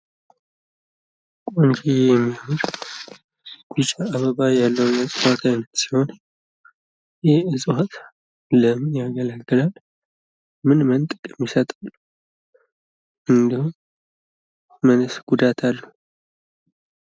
ይሄ ቆንጂዬ የሚያምር ቢጫ አበባ ያለው የ እጽዋት አይነት ሲሆን ይሄ እጽዋት ለምን ያገለግላል? ምን ምን ጥቅም ይሰጣል? እንደውም ምንስ ጉዳት አለው?